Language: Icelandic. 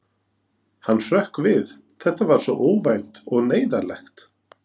Hann hrökk við, þetta var svo óvænt og neyðarlegt.